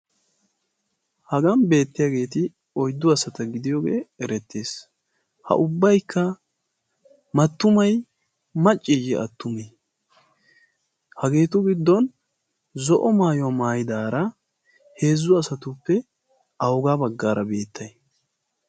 hagan beettiyaageeti oyddu asata gidiyoogee erettees. ha ubbaykka mattumay macciiyye attumii? hageetu giddon zo'o maayuwaa maayidaara heezzu asatuppe awugaa baggaara beettay?